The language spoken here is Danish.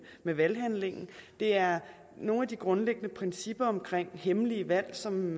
med valghandlingen det er nogle af de grundlæggende principper omkring hemmelige valg som